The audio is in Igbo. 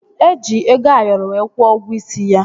Eji ego Ayoro wee kwuo ụgwọ isi ya